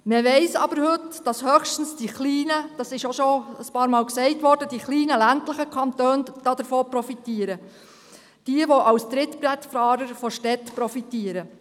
Man weiss aber heute, dass höchstens die kleinen, ländlichen Kantone – dies wurde auch schon einige Male erwähnt – davon profitieren, diejenigen, die als Trittbrettfahrer von Städten profitieren.